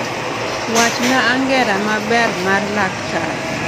Wachna angera maber mar laktar